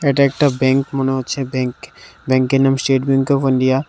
এটা একটা ব্যাংক মনে হচ্ছে। ব্যাংক ব্যাংকের নাম স্টেট ব্যাঙ্ক অফ ইন্ডিয়া ।